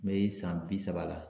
N be san bi saba la.